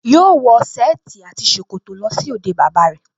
Yóò wọ sẹ́ẹ̀tì àti ṣòkòtò lọ sí òde bàbá rẹ̀